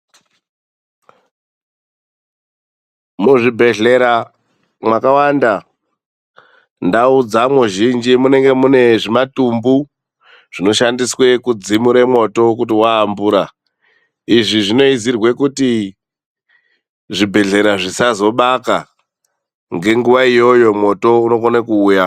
Muzvibhedhlera mwakawanda, ndau dzamwo zhinji munenge mune zvimatumbu zvinoshandiswe kudzimure mwoto kuti waambura. Izvi zvinoizirwe kuti zvibhedhlera zvisazobaka ngenguva iyoyo mwoto unokona kuuya.